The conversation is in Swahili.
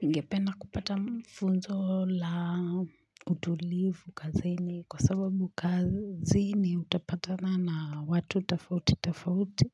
Ningependa kupata funzo la utulivu kazini kwa sababu kazini utapatana na watu tafauti tafauti